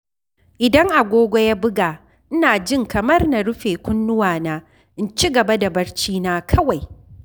Idan agogo ya buga, ina jin kamar na rufe kunnuwana in ci gaba da barcina kawai.